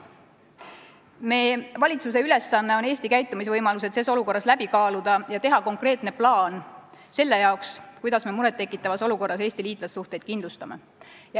Meie valitsuse ülesanne on Eesti käitumisvõimalused ses olukorras läbi kaaluda ja teha konkreetne plaan selle jaoks, kuidas me muret tekitavas olukorras Eesti liitlassuhteid kindlustame.